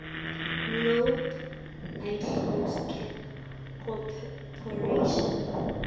nobe iclose corporation